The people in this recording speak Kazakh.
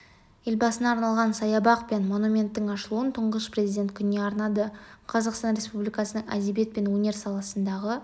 елбасына арналған саябақ пен монументтің ашылуын тұңғыш президент күніне арнады қазақстан республикасының әдебиет пен өнер саласындағы